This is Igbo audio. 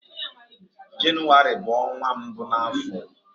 Jenụwarị bu onwa mbu n'afo.